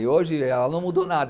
E hoje ela não mudou nada.